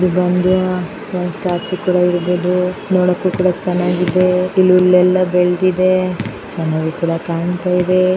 ಇದು ಒಂದು ಸ್ಟ್ಯಾಚು ತರ ಇದೆ ನೋಡಕ್ಕೋ ಕೂಡ ಚನ್ನಾಗಿ ಇದೆ ಗಿಡಗಳು ಬೆಳೆದಿದೆ ಚೆನ್ನಾಗಿ ಕೂಡ ಕಾಣ್ತಾಯಿದೆ.